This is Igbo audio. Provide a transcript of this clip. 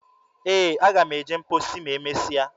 Ee, aga m eje mposi ma e mesia.